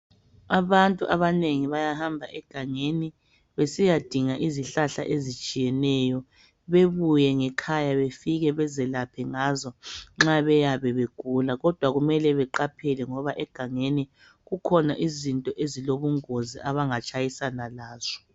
Abantu abanengi bayahamba egangeni besiyadinga izihlahla ezitshiyeneyo. Bebuye ngekhaya befike bezelaphe ngazo, nxa beyabe begula. Kodwa kumele beqaphele ngoba egangeni, kukhona izinto ezilobungozi abangatshayisana lazo.